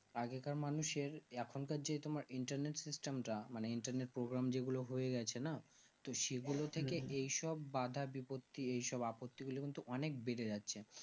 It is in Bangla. আগেকার মানুষের এখন তো যে তোমার internet system তা মানে internet program যেগুলো হয়েগেছে না তো সেগুলো থেকে এই সব বাঁধা বিপত্তি এইসব আপত্তি গুলো কিন্তু অনেক বেড়ে যাচ্ছে